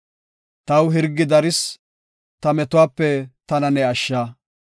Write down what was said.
Taw hirgi daris; ta metuwape tana ne ashsha.